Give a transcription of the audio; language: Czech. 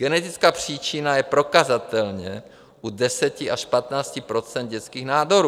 Genetická příčina je prokazatelná u 10 až 15 % dětských nádorů.